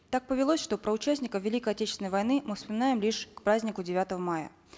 так повелось что про участников великой отечественной войны мы вспоминаем лишь к празднику девятого мая